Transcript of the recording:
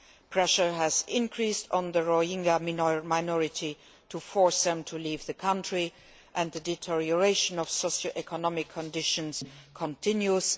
Pressure has increased on the Rohingya minority to force them to leave the country, and the deterioration of socioeconomic conditions continues.